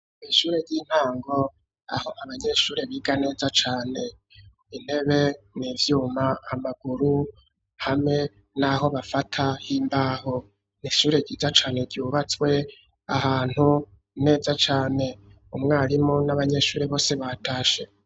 Mw'ishure ry'intango aho abanyeshure biga neza cane intebe n'ivyuma amaguru hamwe n'aho bafata h'imbaho, n'ishure ryiza cane ryubatswe ahantu neza cane, umwarimu n'abanyeshure bose batashe.